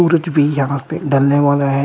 सूरज भी यहां पे ढलने वाला है।